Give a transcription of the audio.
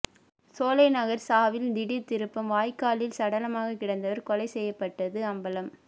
சோலைநகர் சாவில் திடீர் திருப்பம் வாய்க்காலில் சடலமாக கிடந்தவர் கொலை செய்யப்பட்டது அம்பலம்